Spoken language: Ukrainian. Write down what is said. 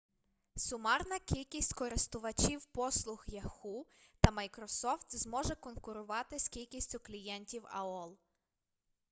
сумарна кількість користувачів послуг яху та майкрософт зможе конкурувати з кількістю клієнтів аол